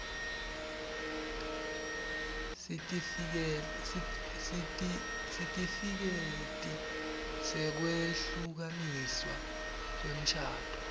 sitifiketi sekwehlukaniswa kwemshado